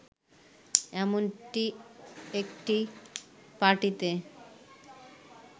এমনটি একটি পার্টিতে